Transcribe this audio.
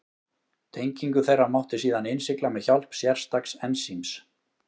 Tengingu þeirra mátti síðan innsigla með hjálp sérstaks ensíms.